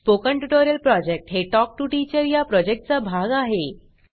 spoken tutorial project हे talk to teacher चा भाग आहे